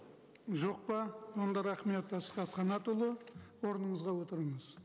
жоқ па онда рахмет асхат қанатұлы орныңызға отырыңыз